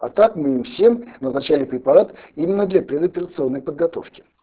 а так мы им всем назначали препарат именно для предоперационной подготовки